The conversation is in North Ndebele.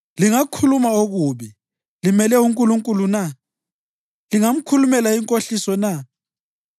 Lingakhuluma okubi limele uNkulunkulu na? Lingamkhulumela inkohliso na?